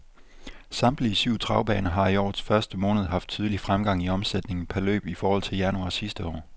Samtlige syv travbaner har i årets første måned haft betydelig fremgang i omsætningen per løb i forhold til januar sidste år.